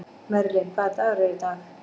Merlin, hvaða dagur er í dag?